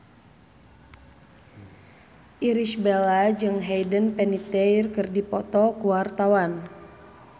Irish Bella jeung Hayden Panettiere keur dipoto ku wartawan